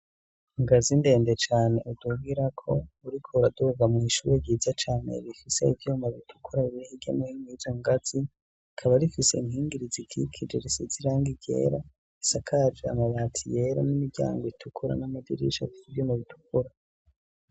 Ingazi indende cane udugirako, urikuraduga miw'ishuri ryiza cane rifise ivyumba bitukura niri hirya no nino yizo ngazi ,rikaba rifise inkingi ririkije risiz'irangi ryera, isakaje amabati yera n'imiryango itukura n'amadirisha afis' ivyuma bitukura.